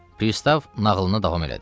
Pristav nağılını davam elədi.